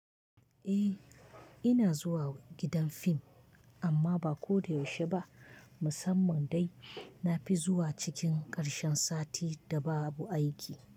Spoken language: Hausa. Eh, ina zuwa gidan fim amma ba ko da yaushe ba. Musamman dai na fi zuwa cikin ƙarshen sati da babu aiki.